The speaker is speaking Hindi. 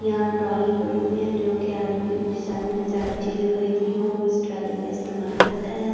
यहां ट्रॉलियां पड़ी हुई है जो कि आदमी जिस आदमी ने ज्यादा चीजें खरीदनी हो वो इस ट्रॉली का इस्तेमाल करता है।